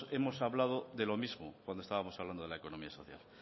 hemos hablado de lo mismo cuando estábamos hablando de la economía social